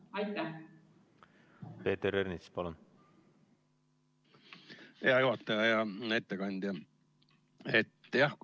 Hea juhataja ja ettekandja!